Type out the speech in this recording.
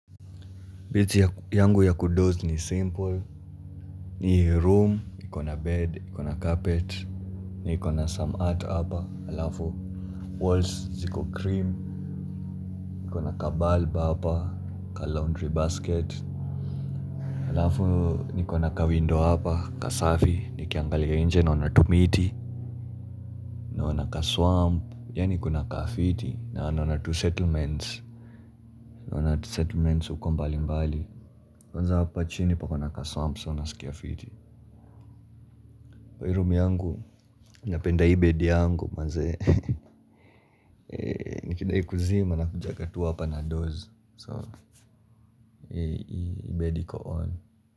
Beti yangu ya kudoze ni simple. Ni room, ikona bed, niko na carpet. Niko na some art hapa, halafu Walls, ziko cream. Niko na kabulb hapa, ka laundry basket. Halafu niko na kawindow hapa, kasafi, nikangalia inje naona tumiti. Nakaswamp, ya nikona kafiti. Na wana tunsettlements. Na wana tunsettlements uko mbali mbali. Kwanza hapa chini pako na tunsettlements, wana tunsettlements. Kwa hiroom yangu, napenda ibed yangu. Maze, nikidai kuzima na kujaga tu wapa na doze So, ibed iko on.